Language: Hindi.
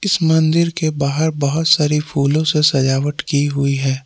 इस मंदिर के बाहर बहुत सारी फूलों से सजावट की हुई है।